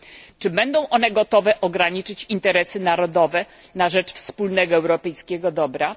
Czy będą one gotowe ograniczyć interesy narodowe na rzecz wspólnego, europejskiego dobra?